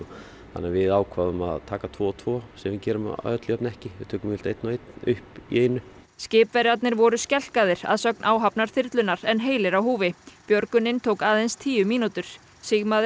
við ákváðum að taka tvo og tvo sem við gerum að alla jafna ekki tökum yfirleitt einn og einn upp í einu skipverjarnir voru skelkaðir að sögn áhafnar þyrlunnar en heilir á húfi björgunin tók aðeins tíu mínútur